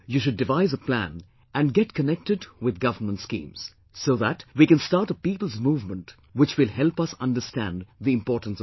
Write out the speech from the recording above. You should devise a plan and get connected with Government schemes so that we can start a people's movement which will help us understand the importance of water